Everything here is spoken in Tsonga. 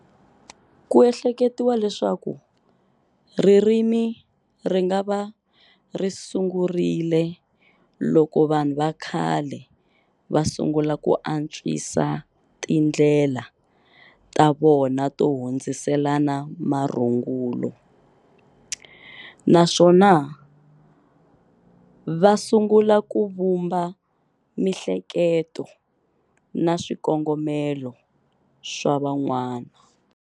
Ku ehleketiwa leswaku ririmi ringava risungerile loko vanhu vakhale va sungula ku antswisa tindlela ta vona to hundziselana marungula, naswona vasungula ku vhumba mihleketo na swikongomelo swa van'wana.